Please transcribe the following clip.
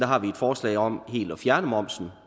har vi et forslag om helt at fjerne momsen